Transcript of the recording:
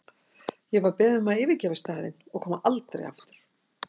Ég var beðin um að yfirgefa staðinn og koma aldrei aftur.